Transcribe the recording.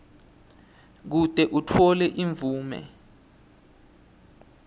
kute utfole imvume